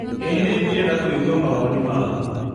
ĩĩ ningĩenda kũigua mawoni maku.